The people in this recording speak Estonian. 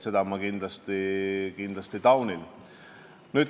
Seda ma kindlasti taunin.